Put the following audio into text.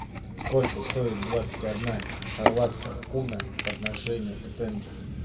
сколько стоит двадцать одна хорватская куна по отношению к тенге